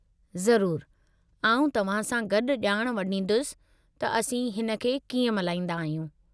ज़रूरु! आउं तव्हां सां गॾु जा॒ण वंडींदुसि त असीं हिन खे कीअं मल्हाईंदा आहियूं।